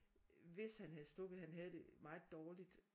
Hvis han havde stukket han havde det meget dårligt